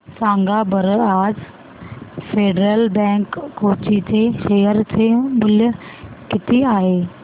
सांगा बरं आज फेडरल बँक कोची चे शेअर चे मूल्य किती आहे